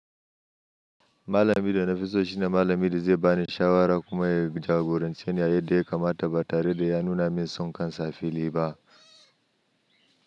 Malami da nafi so shine malami da zai bani shawara kuma ya jagorance ni yadda ya kamata ba tare da ya nuna min son kansa a fili ba.